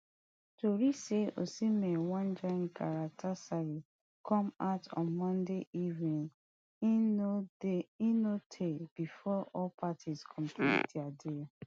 tori say osimhen wan join come out on monday evening e no dey eno tey bifor all di parties complete di deal